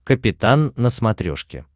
капитан на смотрешке